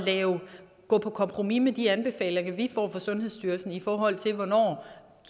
gå på kompromis med de anbefalinger vi får fra sundhedsstyrelsen i forhold til hvornår